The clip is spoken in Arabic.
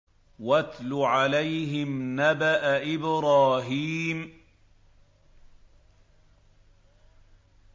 وَاتْلُ عَلَيْهِمْ نَبَأَ إِبْرَاهِيمَ